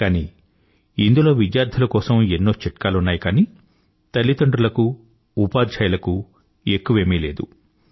కానీ ఇందులో విద్యార్థుల కోసం ఎన్నో చిట్కాలున్నాయి కానీ తల్లిదండ్రుల కు ఉపాధ్యాయులకు ఎక్కువేమీ లేదు